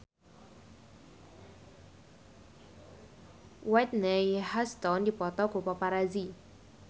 Whitney Houston dipoto ku paparazi